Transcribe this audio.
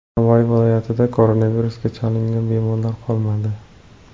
Navoiy viloyatida koronavirusga chalingan bemorlar qolmadi .